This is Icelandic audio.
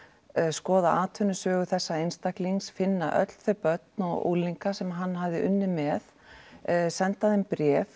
skoða atvinnusögu þessa einstaklings finna öll þau börn og unglinga sem hann hafði unnið með senda þeim bréf